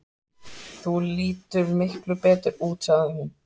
Þú lítur miklu betur út, sagði hún.